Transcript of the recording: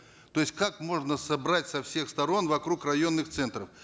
то есть как можно собрать со всех сторон вокруг районных центров